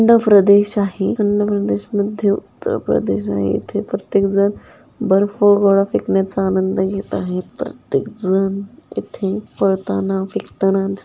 थंड प्रदेश आहे थंड प्रदेश मध्ये इथे प्रत्येक जन बर्फ गोळा फेकण्याचा आनंद घेत आहे प्रत्येक जन इथे पळताना फेकताना दि--